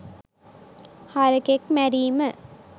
හරකෙක් මැරීම